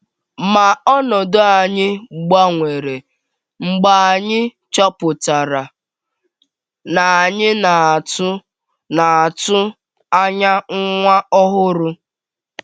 Ma ọnọdụ anyị gbanwere mgbe anyị chọpụtara na anyị na - atụ na - atụ anya nwa ọhụrụ.